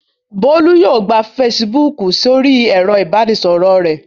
Bólú yóò gba Facebook sórí ẹ̀rọ-ìbánisọ̀rọ̀ rẹ̀.